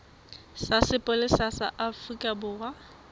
sa sepolesa sa afrika borwa